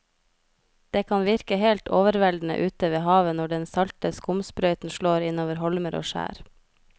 Det kan virke helt overveldende ute ved havet når den salte skumsprøyten slår innover holmer og skjær.